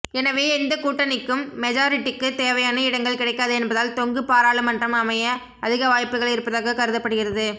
எனவே எந்த கூட்டணிக்கும் மெஜாரிட்டிக்கு தேவையான இடங்கள் கிடைக்காது என்பதால் தொங்கு பாராளுமன்றம் அமைய அதிக வாய்ப்புகள் இருப்பதாக கருதப்படுகிறது